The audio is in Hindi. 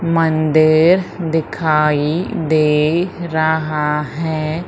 मंदिर दिखाई दे रहा है।